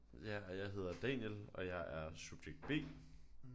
Ja og jeg hedder Daniel og jeg er subjekt B